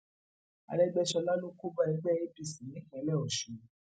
àrègbèsọlá ló kó bá ẹgbẹ apc nípínlẹ ọsùn